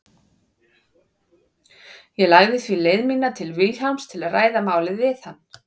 Ég lagði því leið mína til Vilhjálms til að ræða málið við hann.